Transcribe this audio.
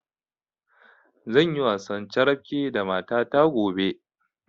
Zanyi wasan carabke da mata ta gobe